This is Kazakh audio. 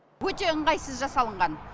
өте ыңғайсыз жасалынған